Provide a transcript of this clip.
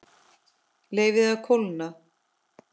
Leyfið að kólna.